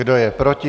Kdo je proti?